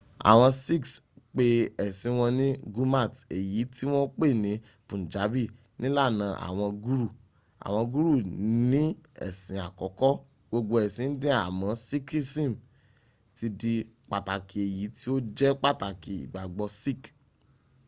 àwọn sikhs ń pe ẹ̀sìn wọn ní gurmat èyí tí wọ́n pè ní punjabi nílànì àwọn guru”. àwọn guru ní ẹ̀sìn àkọ́kọ́ gbogbo ẹ̀sìn indian àmọ́ sikhism ti di pàtàkì èyí tí ó jẹ́ pàtàkì ìgbàgbọ́ sikh